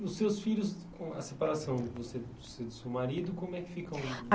os seus filhos, com a separação você do seu seu marido, como é que ficam?